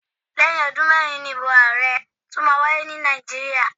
Lẹ́yìn ọdún mẹ́rin ni ìbò ààrẹ tún máa wáyé ní Nàìjíríà.